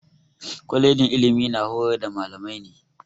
Kwalejin ilimi na horar da mallamai ne.